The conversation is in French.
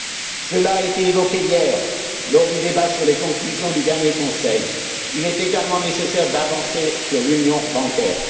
On l'a dit hier, lors du débat sur les conclusions du dernier Conseil il est également nécessaire d'avancer sur l'union bancaire.